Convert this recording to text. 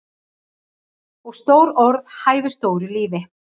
Og stór orð hæfa stóru lífi.